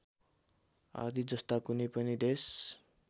आदि जस्ता कुनै पनि देश